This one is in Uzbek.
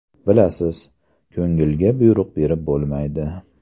Bilasiz, ko‘ngilga buyruq berib bo‘lmaydi.